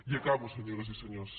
i acabo senyores i senyors